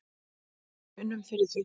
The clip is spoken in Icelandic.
Við unnum fyrir því.